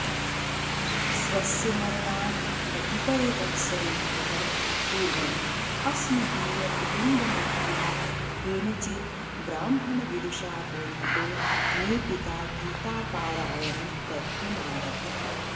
स्वस्य मरणात् कतिपयवत्सरेभ्यः पूर्वमस्मदीयकुटुम्बमित्रेण केनचिद्ब्राह्मणविदुषा बोधितो मे पिता गीतापारायणं कर्तुमारभत